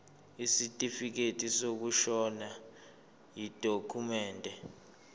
isitifikedi sokushona yidokhumende